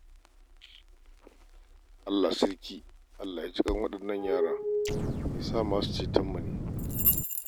Allah sarki! Allah ya ji ƙan waɗannan yara, ya sa masu cetonmu ne.